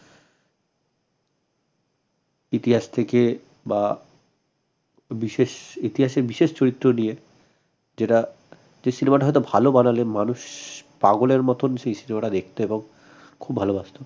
ইতিহাস থেকে বা বিশেষ ইতিহাসের বিশেষ চরিত্র নিয়ে যেটা এই cinema টা হয়ত ভাল বানালে মানুষ পাগলের মত সেই cinema টা দেখত এবং খুব ভালবাসত